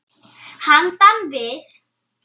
Handan við